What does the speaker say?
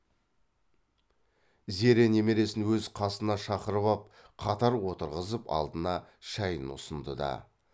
зере немересін өз қасына шақырып ап қатар отырғызып алдына шайын ұсынды да